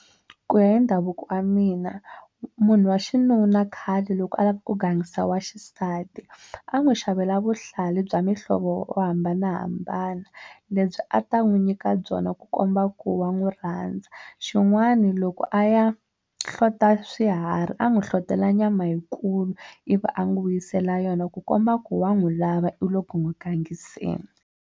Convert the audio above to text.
Ku ya hi ndhavuko wa mina munhu wa xinuna khale loko a lava ku gangisa wa xisati a n'wi xavela vuhlalu bya muhlovo yo hambanahambana lebyi a ta n'wi nyika byona ku komba ku wa n'wi rhandza xin'wana loko a ya hlota swiharhi a n'wi hlohlotelo nyama yikulu ivi a n'wi vuyisela yona ku komba ku wa n'wi lava i le ku n'wi gangiseni.